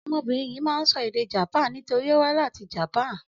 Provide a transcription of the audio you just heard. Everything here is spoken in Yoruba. Ọmọbìnrin yìí máa ń sọ èdè Japan nítorí ó wá láti Japan.